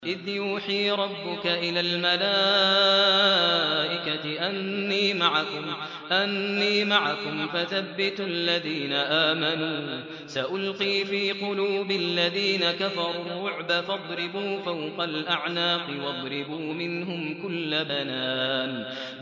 إِذْ يُوحِي رَبُّكَ إِلَى الْمَلَائِكَةِ أَنِّي مَعَكُمْ فَثَبِّتُوا الَّذِينَ آمَنُوا ۚ سَأُلْقِي فِي قُلُوبِ الَّذِينَ كَفَرُوا الرُّعْبَ فَاضْرِبُوا فَوْقَ الْأَعْنَاقِ وَاضْرِبُوا مِنْهُمْ كُلَّ بَنَانٍ